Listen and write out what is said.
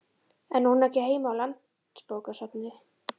En á hún ekki heima á Landsbókasafni?